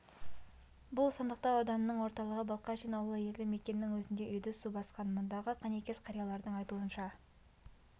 бұл сандықтау ауданының орталығы балкашин ауылы елді мекеннің өзінде үйді су басқан мұндағы көнекөз қариялардың айтуынша